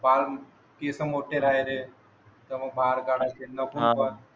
पित मोठे माहिले तर मग